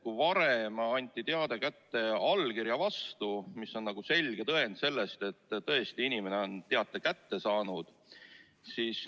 Varem anti teade kätte allkirja vastu, mis on selge tõend selle kohta, et inimene on tõesti teate kätte saanud.